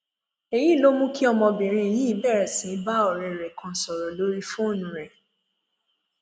èyí ló mú kí ọmọbìnrin yìí bẹrẹ sí í bá ọrẹ rẹ kan sọrọ lórí fóònù rẹ